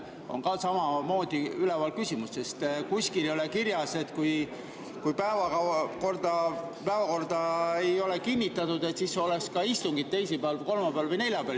See küsimus on samamoodi üleval, sest kuskil ei ole kirjas, et kui päevakorda ei ole kinnitatud, siis oleks istung ka teisipäeval või kolmapäeval või neljapäeval.